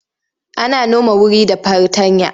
Ana noma wuri da fartanya.